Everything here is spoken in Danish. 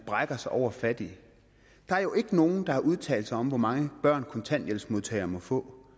brækker sig over fattige der er jo ikke nogen der har udtalt sig om hvor mange børn kontanthjælpsmodtagere må få